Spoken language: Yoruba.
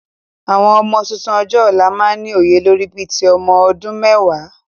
Àwọn ọmọ tuntun ọjọ́ ọ̀la máa ni òye lórí bí ti ọmọ ọdún mẹ́wàá